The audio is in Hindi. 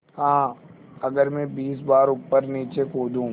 हाँ अगर मैं बीस बार ऊपरनीचे कूदूँ